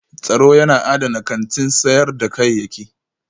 Tsaro yana adana kantin sayar da kayayyaki